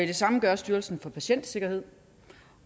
det samme gør styrelsen for patientsikkerhed